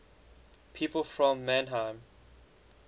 people from mannheim